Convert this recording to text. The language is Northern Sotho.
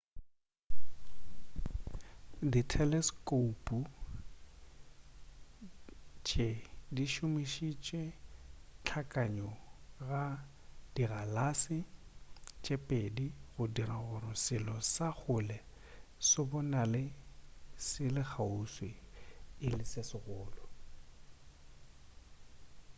ditheleskoupu tše di šomošitše hlakanyo ya dikgalase tše pedi go dira gore selo sa kgole se bonale se le kgauswi e le se segolo